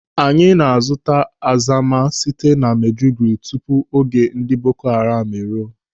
Anyị na-azụta azama site na Maiduguri tupu oge ndị Boko Haram eruo.